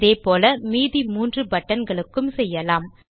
இதே போல மீதி மூன்று பட்டன் களுக்கும் செய்யலாம்